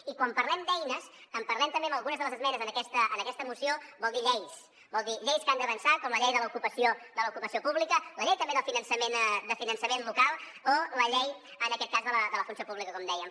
i quan parlem d’eines en parlem també en algunes de les esmenes en aquesta moció vol dir lleis vol dir lleis que han d’avançar com la llei de l’ocupació pública la llei també de finançament local o la llei en aquest cas de la funció pública com dèiem